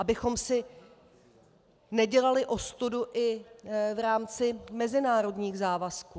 Abychom si nedělali ostudu i v rámci mezinárodních závazků.